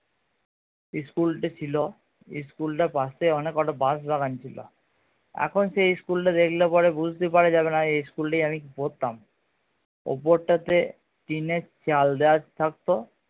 school টি ছিল school টির পাশে অনেক কটা বাশ দোকান ছিল এখন সেই school টা দেখলে পরে বুঝতে পারা যাবে না এই school টাই আমি পড়তাম উপর টা তে টিনের চাল দেয়া থাকতো